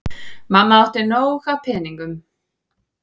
Mamma átti nóg af peningum.